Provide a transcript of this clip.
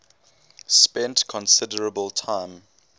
spent considerable time